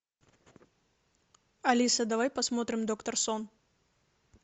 алиса давай посмотрим доктор сон